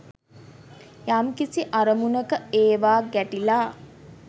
යම්කිසි අරමුණක ඒවා ගැටිලා